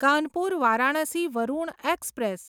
Kanpur Varanasi Varuna express